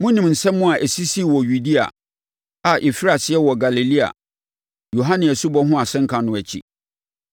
Monim nsɛm a ɛsisii wɔ Yudea, a ɛfirii aseɛ wɔ Galilea, Yohane asubɔ ho asɛnka no akyi.